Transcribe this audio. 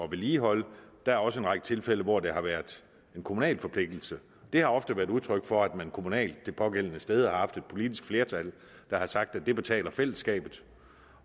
vedligeholde der er også en række tilfælde hvor det har været en kommunal forpligtelse det har ofte været udtryk for at man kommunalt det pågældende sted har haft et politisk flertal der har sagt at det betaler fællesskabet